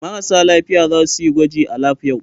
Marasa lafiya za su yi gwaji a lab yau.